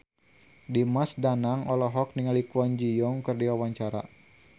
Dimas Danang olohok ningali Kwon Ji Yong keur diwawancara